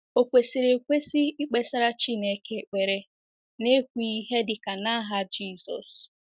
Ò kwesịrị ekwesị ikpesara Chineke ekpere n’ekwughị ihe dị ka “ n’aha Jizọs ”?